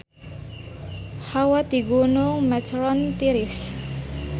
Hawa di Gunung Matterhorn tiris